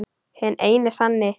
Hinn eini sanni!